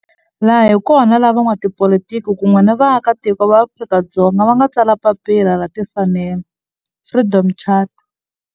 Laha hi kona la van'watipolitiki kun'we ni vaaka tiko va Afrika-Dzonga va nga tsala papila ra timfanelo Freedom Charter.